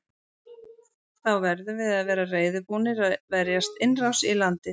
Þá verðum við að vera reiðubúnir að verjast innrás í landið.